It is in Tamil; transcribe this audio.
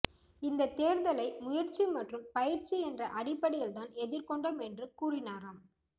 இந்தத் தேர்தலை முயற்சி மற்றும் பயிற்சி என்ற அடிப்படையில்தான் எதிர்கொண்டோம் என்று கூறினாராம்